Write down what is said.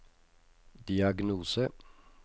diagnose